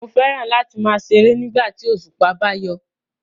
Mo fẹ́ràn láti láti máa ṣeré nígbà tí òṣùpá bá yọ